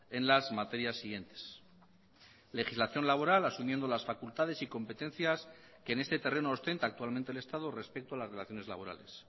en las materias siguientes legislación laboral asumiendo las facultades y competencias que en este terreno ostenta actualmente el estado respecto a las relaciones laborales